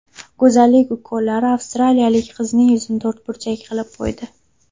Go‘zallik ukollari avstraliyalik qizning yuzini to‘rtburchak qilib qo‘ydi .